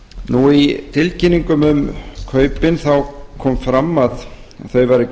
vörusýninga í tilkynningum um kaupin kom fram að þau væru